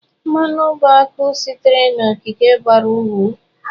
Mmanụ bụ akụ sitere n'okike bara uru.